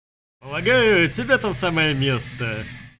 помогаю тебе там самое место